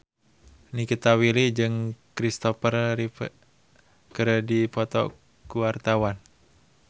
Nikita Willy jeung Christopher Reeve keur dipoto ku wartawan